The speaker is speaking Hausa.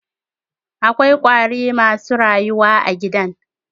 Akwa ƙwari masu rayuwa a gidan.